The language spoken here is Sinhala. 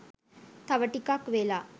තව ටිකක් වෙලා.